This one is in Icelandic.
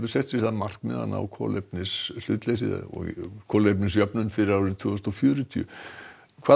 sett sér það markmið að ná kolefnishlutleysi fyrir árið tvö þúsund og fjörutíu hvað